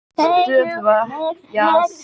Þá gengur urriðinn úr á í nærliggjandi stöðuvatn.